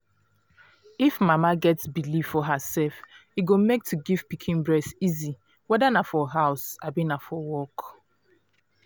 if mama get believe for herself e go make to give pikin breast easy whether na for house abi na for work